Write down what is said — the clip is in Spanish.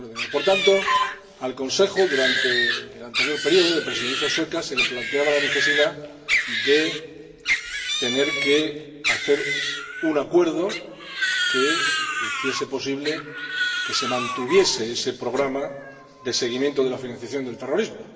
Por tanto, al Consejo, durante el anterior periodo de la Presidencia sueca, se le planteaba la necesidad de suscribir un acuerdo que hiciese posible que se mantuviese ese programa de seguimiento de la financiación del terrorismo.